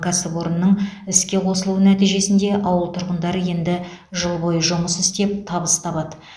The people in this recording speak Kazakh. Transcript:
кәсіпорынның іске қосылуы нәтижесінде ауыл тұрғындары енді жыл бойы жұмыс істеп табыс табады